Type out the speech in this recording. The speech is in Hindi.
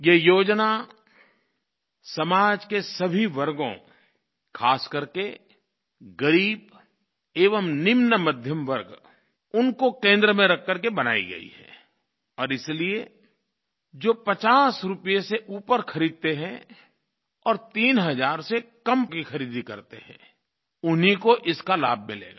ये योजना समाज के सभी वर्गों खास करके ग़रीब एवं निम्न मध्यमवर्ग उनको केंद्र में रख करके बनायी गई है और इसलिये जो 50 रूपये से ऊपर खरीदते हैं और तीन हज़ार से कम पैसों की खरीदी करते हैं उन्हीं को इसका लाभ मिलेगा